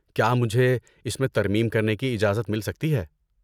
کیا مجھے اس میں ترمیم کرنے کی اجازت مل سکتی ہے؟